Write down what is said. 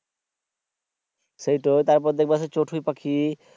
সেইটাই তারপরে দেখবা সেই চথুই পাখি